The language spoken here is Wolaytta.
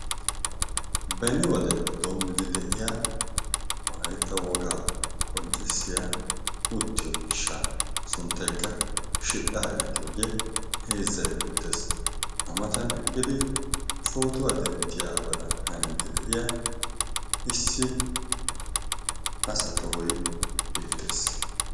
beni wodeppe doommidi de7iya walaitta wogaa qonccissiya uttiyo miishsha sunttaikka shidhdhaa yaagiyoogee heezzai beettees. amatan eqqidi pootuwa denttiyaa badan haniiddi de7iya issi asa tohoi beettees.